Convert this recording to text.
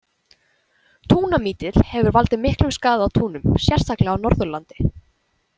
Túnamítill hefur valdið miklum skaða á túnum, sérstaklega á Norðurlandi.